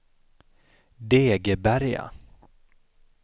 Degeberga